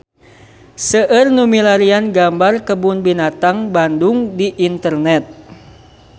Seueur nu milarian gambar Kebun Binatang Bandung di internet